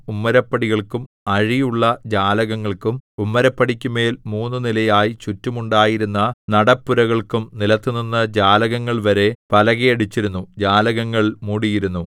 ഉമ്മരപ്പടികൾക്കും അഴിയുള്ള ജാലകങ്ങൾക്കും ഉമ്മരപ്പടിക്കു മേൽ മൂന്നു നിലയായി ചുറ്റും ഉണ്ടായിരുന്ന നടപ്പുരകൾക്കും നിലത്തുനിന്ന് ജാലകങ്ങൾ വരെ പലകയടിച്ചിരുന്നു ജാലകങ്ങൾ മൂടിയിരുന്നു